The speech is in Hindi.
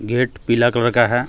गेट पीला कलर का है।